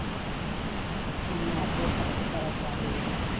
scene ਮਾਰ ਕੇ ਸਾਡਾ ਕਛੇਰਾ ਤਿਆਰ ਹੋਜੇਗਾ